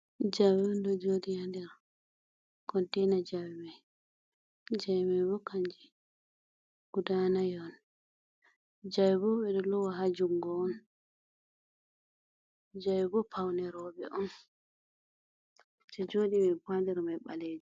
Jawe on ɗo joɗi ha nder containa jawe mai. jawe mai bo kanje guda nai on. jawe bo ɓeɗo lowa ha jungo on. jawe bo paune roɓe on. Je joɗi mai bo ha nder mai ɓalejum.